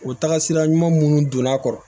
O taga sira ɲuman minnu donn'a kɔrɔ